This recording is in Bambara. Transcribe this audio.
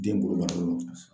Den bolo banalo de la sisan.